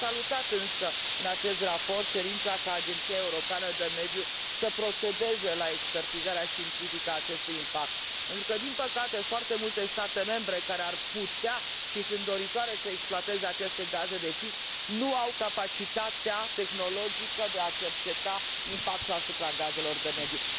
Am salutat, însă, în acest raport, cerința ca Agenția Europeană de Mediu să procedeze la expertizarea științifică a acestui impact, pentru că, din păcate, foarte multe state membre, care ar putea și sunt doritoare să exploateze aceste gaze de șist, nu au capacitatea tehnologică de a cerceta impactul gazelor asupra mediului.